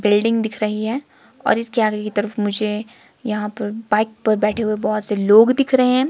Building दिख रही है और इसके आगे की तरफ मुझे यहां पर बाइक पर बैठे हुए बहोत से लोग दिख रहे हैं।